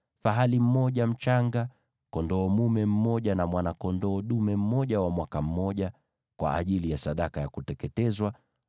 fahali mmoja mchanga, kondoo dume mmoja na mwana-kondoo dume mmoja wa mwaka mmoja, kwa ajili ya sadaka ya kuteketezwa;